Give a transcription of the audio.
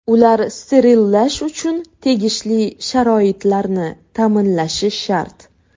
Ular sterillash uchun tegishli sharoitlarni ta’minlashi shart.